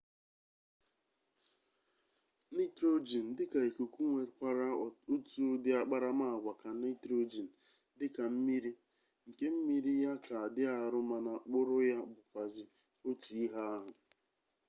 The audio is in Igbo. nitrogen dika ikuku nwekwara otu udi akparamaagwa ka nitrogen dika mmiri nke mmiri ya ka di aru mana kpuru ya bukwazi otu ihe ahu